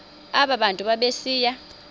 aba bantu babesiya